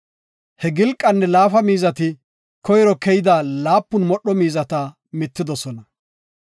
He gilqanne laafida miizati koyro keyida laapun modho miizata mittidosona.